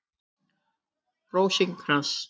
Rósinkrans